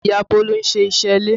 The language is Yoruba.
Ìyá Bolu ń ṣe iṣẹ́ ilé